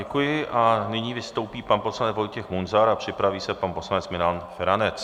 Děkuji a nyní vystoupí pan poslanec Vojtěch Munzar a připraví se pan poslanec Milan Feranec.